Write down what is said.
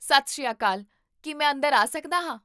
ਸਤਿ ਸ਼੍ਰੀ ਅਕਾਲ, ਕੀ ਮੈਂ ਅੰਦਰ ਆਂ ਸਕਦਾ ਹਾਂ?